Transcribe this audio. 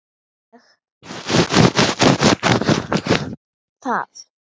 Ég hugsa að þú hljótir að muna það.